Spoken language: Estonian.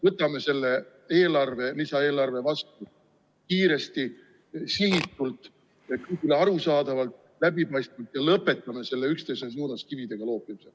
Võtame selle lisaeelarve vastu kiiresti, sihitult, arusaadavalt ja läbipaistvalt ning lõpetame selle üksteise suunas kividega loopimise.